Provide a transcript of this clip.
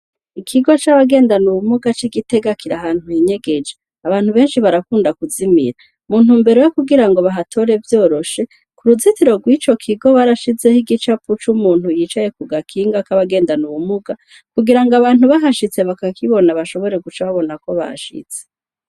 Ikigo c'abagendana ubumuga c'i Gitega kiri ahantu hinyegeje. Abantu benshi barakunda kuzimira. Mu ntumero yo kugira ngo bahatore vyoroshe, ku ruzitiro rw'ico kigo barashizeho igicapo c'umuntu yicaye kugakinga k'abangendana ubumuga, kugira ngo abantu bahashitse bakakibona bashobore kuca babona ko bashitse.